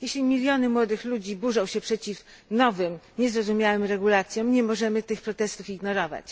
Jeśli miliony młodych ludzi burzą się przeciw nowym, niezrozumiałym regulacjom, nie możemy tych protestów ignorować.